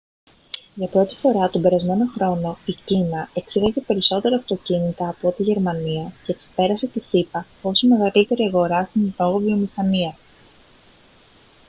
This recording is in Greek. για πρώτη φορά τον περασμένο χρόνο η κίνα εξήγαγε περισσότερα αυτοκίνητα από ό,τι η γερμανία και ξεπέρασε τις ηπα ως η μεγαλύτερη αγορά στην εν λόγω βιομηχανία